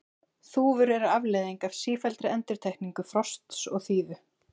Þúfur eru afleiðing af sífelldri endurtekningu frosts og þíðu.